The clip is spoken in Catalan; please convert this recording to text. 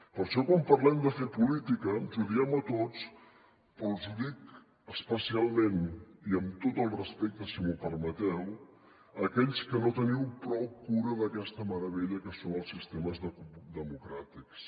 per això quan parlem de fer política ens ho diem a tots però els ho dic especialment i amb tot el respecte si m’ho permeteu a aquells que no teniu prou cura d’aquesta meravella que són els sistemes democràtics